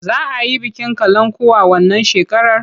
Za a yi bikin kalankuwa wannan shekarar?